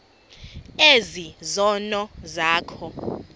ezi zono zakho